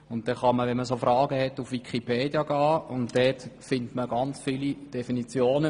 Mit solchen Fragen kann man auf Wikipedia gehen und findet sehr viele Definitionen.